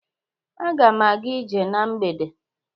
Aga m aga ije na mgbede